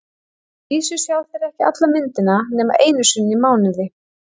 Að vísu sjá þeir ekki alla myndina nema einu sinni í mánuði.